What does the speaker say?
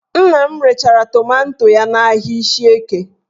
Nna m rechara tomanto ya n'ahịa Ishieke